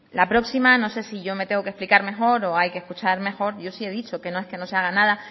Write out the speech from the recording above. la próxima no sé si yo me tengo que explicar mejor o hay que escuchar mejor yo sí he dicho que no es que no se haga nada